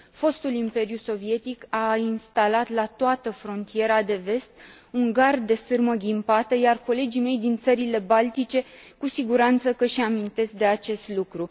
Fostul imperiu sovietic a instalat la toată frontiera de vest un gard de sârmă ghimpată, iar colegii mei din țările baltice cu siguranță că își amintesc de acest lucru.